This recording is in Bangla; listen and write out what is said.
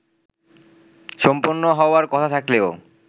সম্পন্ন হওয়ার কথা থাকলেও